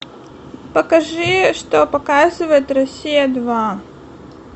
покажи что показывает россия два